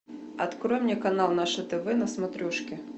открой мне канал наше тв на смотрешке